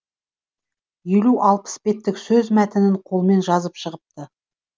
елу алпыс беттік сөз мәтінін қолмен жазып шығыпты